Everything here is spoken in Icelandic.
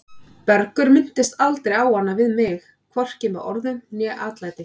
Bergur minntist aldrei á hana við mig, hvorki með orðum né atlæti.